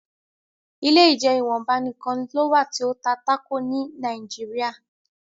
ilé ìjeun ìwọnba nìkàn ló wá ti o tá Taco ní Nàìjíríà.